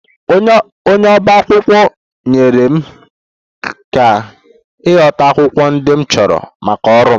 Onye ọba akwụkwọ nyeere m aka ịchọta akwụkwọ ndị m chọrọ maka ọrụ m